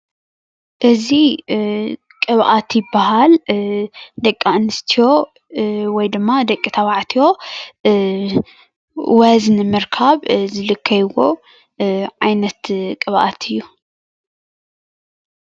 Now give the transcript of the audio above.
እዚ ቅብአት ይበሃል። ደቂኣንስትዮ ወይ ድማ ደቂተባዕትዮ ወዝ ንምርካብ ዝልከይዎ ዓይነት ቅብኣት እዪ።